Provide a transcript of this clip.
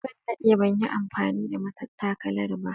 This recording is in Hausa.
Zan dade ban yi amfani da matattakala ba